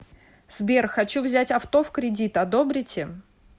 сбер хочу взять авто в кредит одобрите